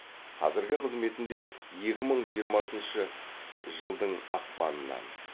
қазіргі қызметінде екі мың жиырмасыншы жылдың ақпанынан